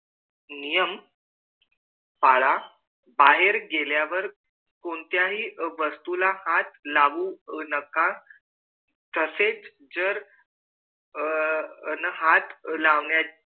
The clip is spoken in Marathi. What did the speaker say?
नियम पाला बाहेर गेल्यावर कोणत्याही वस्तु ला हाथ लावू नका तसेच जर न हाथ लावण्या